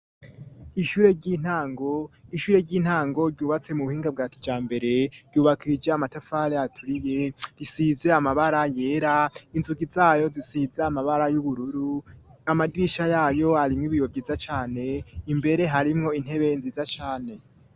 Ishure ry'intango ryubatse mu buhinga bwa kijambere, ryubakishije amatafari aturiye, risize amabara yera, inzugi zayo zisize amabara y'ubururu, amadirisha yayo arimwo ibiyo vyiza cane, imbere harimwo intebe nziza cane.